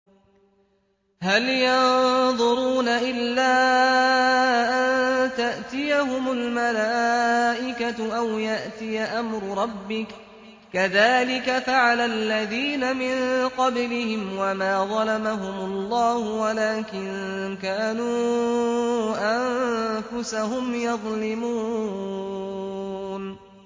هَلْ يَنظُرُونَ إِلَّا أَن تَأْتِيَهُمُ الْمَلَائِكَةُ أَوْ يَأْتِيَ أَمْرُ رَبِّكَ ۚ كَذَٰلِكَ فَعَلَ الَّذِينَ مِن قَبْلِهِمْ ۚ وَمَا ظَلَمَهُمُ اللَّهُ وَلَٰكِن كَانُوا أَنفُسَهُمْ يَظْلِمُونَ